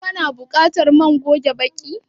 Ka na buƙatar man goge baki?